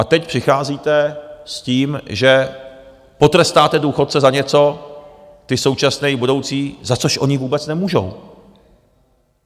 A teď přicházíte s tím, že potrestáte důchodce za něco, ty současné i budoucí, za což oni vůbec nemůžou.